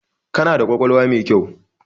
Kana da ƙwaƙwalwa mai kyau.